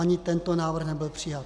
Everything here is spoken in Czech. Ani tento návrh nebyl přijat.